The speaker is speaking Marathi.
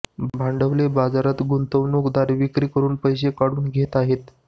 भांडवली बाजारात गुंतवणूकदार विक्री करून पैसे काढून घएत आहेत